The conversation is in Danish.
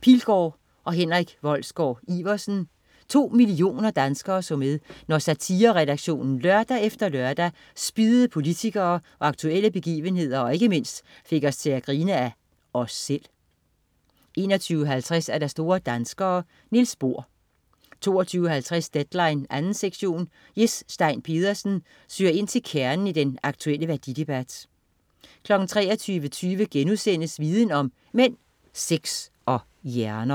Pilgaard og Henrik Wolsgaard-Iversen. To millioner danskere så med, når satireredaktionen lørdag efter lørdag spiddede politikere og aktuelle begivenheder og ikke mindst fik os til at grine af os selv 21.50 Store danskere. Niels Bohr 22.50 Deadline 2. sektion. Jes Stein Pedersen søger ind til kernen i den aktuelle værdidebat 23.20 Viden om: Mænd, sex og hjerner*